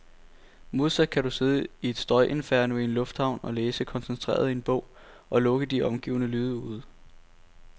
Modsat kan du sidde i et støjinferno i en lufthavn og læse koncentreret i en bog, og lukke de omgivende lyde ude.